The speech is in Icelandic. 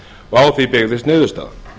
og á því byggðist niðurstaðan